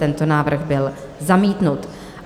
Tento návrh byl zamítnut.